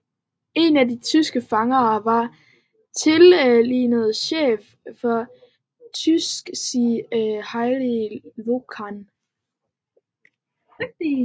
En af de tyske fanger var den tidligere chef for Terezín Heinrich Jöckel